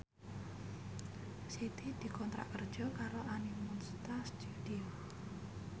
Siti dikontrak kerja karo Animonsta Studio